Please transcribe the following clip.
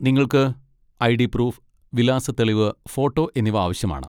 നിങ്ങൾക്ക് ID. Proof, വിലാസ തെളിവ്, ഫോട്ടോ എന്നിവ ആവശ്യമാണ്.